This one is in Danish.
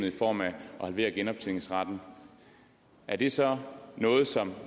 i form af at halvere genoptjeningsretten er det så noget som